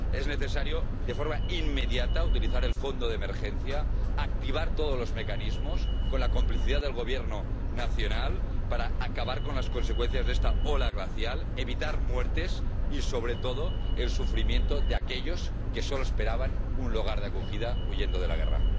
Es necesario, de forma inmediata, utilizar el fondo de emergencia, activar todos los mecanismos con la complicidad del Gobierno nacional, para acabar con las consecuencias de esta ola glacial, evitar muertes y sobre todo el sufrimiento de aquellos que solo esperaban un lugar de acogida, huyendo de la guerra.